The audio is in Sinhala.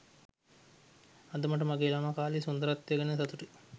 අද මට මගේ ළමා කාලයේ සුන්දරත්වය ගැන සතුටුයි